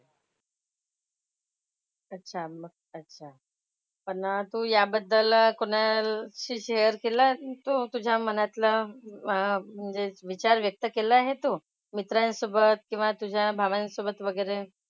अच्छा मग अच्छा. पण तू याबद्दल कोणाशी शेअर केलं तू तुझ्या मनातलं अह म्हणजे विचार व्यक्त केला हे तू? मित्रांसोबत किंवा तुझ्या भावांसोबत वगैरे?